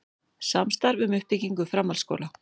Samstarf um uppbyggingu framhaldsskóla